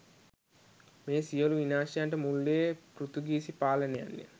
මේ සියලු විනාශයන්ට මුල් වූයේ පෘතුගීසි පාලනයන් ය.